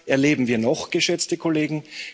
Und was erleben wir noch, geschätzte Kollegen?